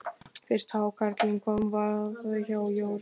Fyrsti hákarlinn kom á vaðinn hjá Jórunni.